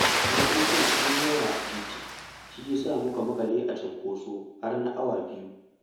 Motocin sun yi yawa a titi, shi ya sa muka maƙale a cunkoso har na awa biyu.